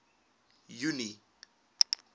junie